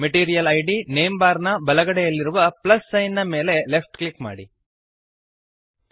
material ಇದ್ name bar ನ ಬಲಗಡೆಯಲ್ಲಿರುವ ಪ್ಲಸ್ ಸೈನ್ ನ ಮೇಲೆ ಲೆಫ್ಟ್ ಕ್ಲಿಕ್ ಮಾಡಿರಿ